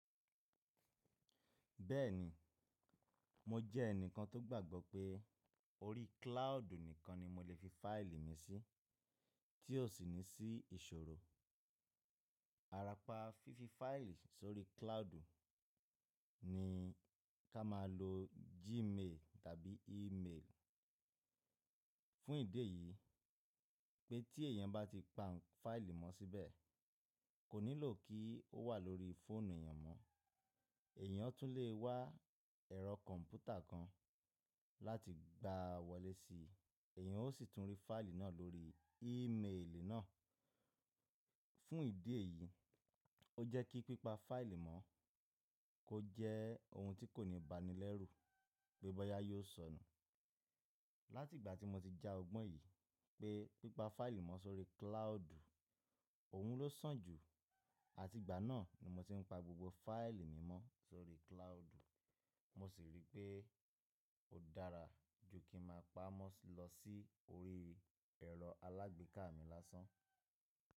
Bẹ́ẹ̀ni, mo jẹ́ ẹnìkan tó gbàgbọ́ pé orí cloud nìkan ni mo lè fi fáìlì mi sí tí ó sì ní sí ìṣòro. Ara pa fífi fáìlì sórí cloud ní kí a máa lo Gmail tàbí email. Fún ìdí èyí pé tí ẹ̀yàn bá ti pa fáìlì mọ́ síbẹ̀, kò nílò kí ó wà lórí fóònù èyàn mọ́. Ẹ̀yàn tún lè wá ẹ̀rọ kọ̀ǹpútà kan láti gbà wọlé sí i, ẹ̀yàn ó sì tún rí fáìlì náà lórí ímeèlì náà. Fún ìdí èyí, ó jẹ́ kí pípa fáìlì mọ́ kó jẹ́ ohun tí kò ní ìbánilẹ́rù, gbé bọ́yá yóò sọnù. Láti ìgbà tí mo ti já ọgbọ́n yìí pé pípa fáìlì mọ́ sórí cloud òhun ló sàn jù, àti ìgbà náà ni mo ti ń pa gbogbo fáìlì mi mọ́ sórí cloud. Mo sì rí pé ó dára ju kí n máa pa á mọ́ lọ sí orí ẹ̀rọ alágbèéká mi lásán.